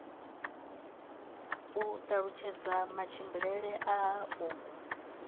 u talutshedza matshimbidzele a u